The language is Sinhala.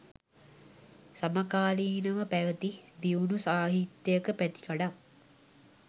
සමකාලීනව පැවැති දියුණු සාහිත්‍යයක පැතිකඩක්